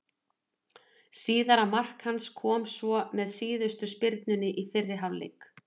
Síðara mark hans kom svo með síðustu spyrnunni í fyrri hálfleik.